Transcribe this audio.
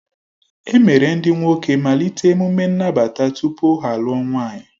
E mere ndị nwoke malite emume nnabata tupu ha alụọ nwaanyị